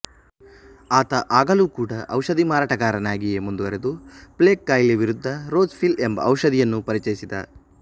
ಆತ ಆಗಲೂ ಕೂಡಾ ಔಷಧಿ ಮಾರಾಟಗಾರನಾಗಿಯೇ ಮುಂದುವರೆದು ಪ್ಲೇಗ್ ಕಾಯಿಲೆ ವಿರುದ್ದ ರೋಜ್ ಪಿಲ್ ಎಂಬ ಔಷಧಿಯನ್ನು ಪರಿಚಯಿಸಿದ